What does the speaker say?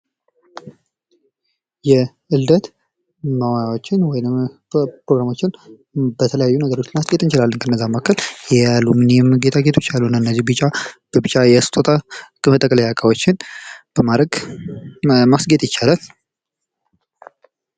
የልደት ፕሮግራሞችን በተለያዩ ነገሮች ማስጌጥ እንችላለን ከነዛም መካከል የአልሙኒየም ጊጣጌጦች አሉ እና እነዚህ ቢጫ በቢጫ የስጦታ መጠቅለያ እቃዎችን በማድረግ ማስጌጥ ይቻላል።